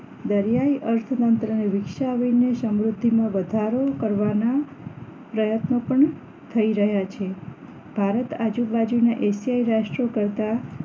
દરિયાની અર્થતંત્રની વિકસાવીને સમૃદ્ધમાં વધારો કરવાના પ્રયત્નો પણ થઈ રહ્યા છે ભારત આજુબાજુના એશિયાય રાષ્ટ્ર કરતા